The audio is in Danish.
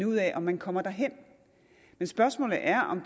ud af om man kommer derhen men spørgsmålet er om